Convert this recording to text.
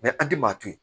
an ti maa to yen